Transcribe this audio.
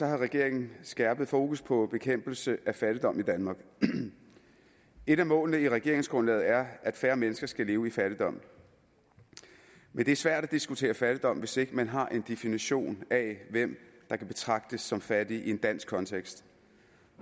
har regeringen skærpet fokus på bekæmpelse af fattigdom i danmark et af målene i regeringsgrundlaget er at færre mennesker skal leve i fattigdom men det er svært at diskutere fattigdom hvis ikke man har en definition af hvem der kan betragtes som fattige i en dansk kontekst